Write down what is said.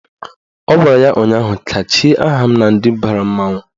Ọ gwara ya ụnyaahụ " kachie aha m na ndị bara mmanwụ"!